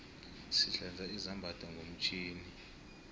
sihlanza izambatho ngomtjhini